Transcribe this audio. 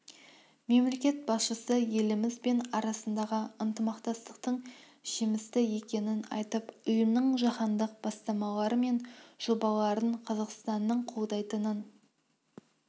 мемлекет басшысы еліміз бен арасындағы ынтымақтастықтың жемісті екенін айтып ұйымның жаһандық бастамалары мен жобаларын қазақстанның қолдайтынын